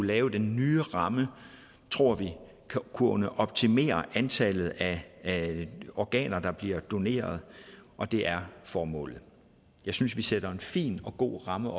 lave den nye ramme tror vi kunne optimere antallet af organer der bliver doneret og det er formålet jeg synes vi sætter en fin og god ramme